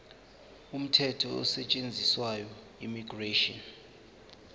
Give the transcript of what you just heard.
umthetho osetshenziswayo immigration